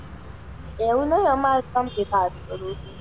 એવુ નાં હોય અમાર,